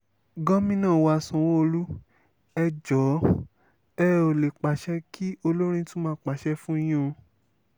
gomina wa sanwó-olu ẹ̀ jóò ẹ̀ ò lè pàṣẹ kí olórin tún máa pàṣẹ fún yín o